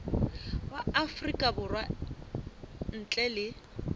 wa afrika borwa ntle le